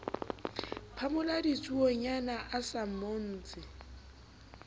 phamola ditsuonyana a sa mmotse